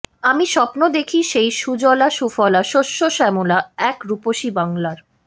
আমি স্বপ্ন দেখি সেই সুজলা সুফলা শস্য শ্যামলা এক রূপসী বাংলার